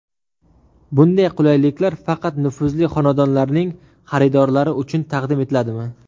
Bunday qulayliklar faqat nufuzli xonadonlarning xaridorlari uchun taqdim etiladimi?